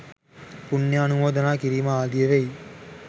පුණ්‍යානුමෝදනා කිරීම ආදිය වෙයි.